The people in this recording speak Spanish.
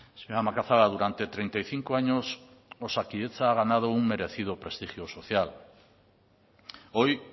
señora macazaga durante treinta y cinco años osakidetza ha ganado un merecido prestigio social hoy